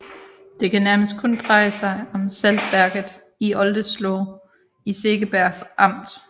Det kan nærmest kun dreje sig om saltværket i Oldesloe i Segeberg amt